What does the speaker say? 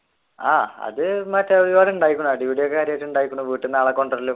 ആഹ് അത് എന്നുവെച്ച ഒരുപാട് ഉണ്ടായിരിക്കുണു അടിപിടി വീട്ടിൽ നിന്ന് ആളെ കൊണ്ടുവരലും